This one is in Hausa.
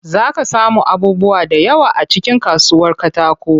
Zaa ka samu abubuwa da yawa a cikin kasuwar katakon.